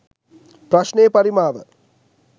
ප්‍රශ්ණයේ පරිමාව